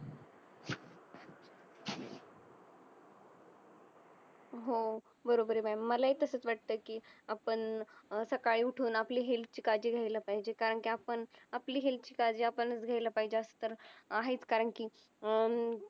हो बरोबर ये ma'am मला ही तसच वाटतं कि आपण अं सकाळी उठून आपली health आपली ची काळजी घ्यायला पाहिजे कारण कि आपण आपली health ची काळजी आपणच घ्यायला पाहिजे असं तर आहेच कारण कि अं